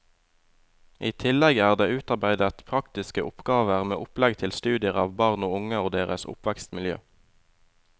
I tillegg er det utarbeidet praktiske oppgaver med opplegg til studier av barn og unge og deres oppvekstmiljø.